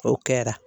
O kɛra